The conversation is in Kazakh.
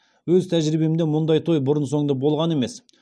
өз тәжірибемде мұндай той бұрын соңды болған емес